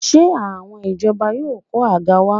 Ṣé àwọn ìjọba yóò kó àga wá?